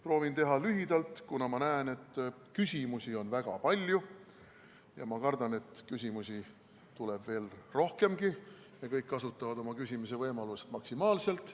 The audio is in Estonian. Proovin teha lühidalt, kuna ma näen, et küsimusi on väga palju, ja ma kardan, et neid tuleb veelgi rohkem ja kõik kasutavad oma küsimisvõimalust maksimaalselt.